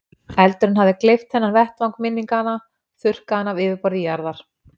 Eldurinn hafði gleypt þennan vettvang minninganna, þurrkað hann af yfirborði jarðar.